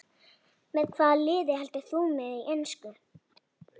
Með hvaða liði heldurðu í ensku?